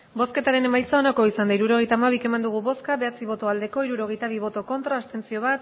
hirurogeita hamabi eman dugu bozka bederatzi bai hirurogeita bi ez bat abstentzio